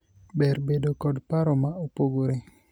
ber bedo kod paro ma opogpore